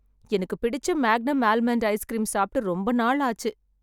எனக்கு பிடிச்ச Magnum almond ice cream சாப்ட்டு ரொம்ப நாள் ஆச்சு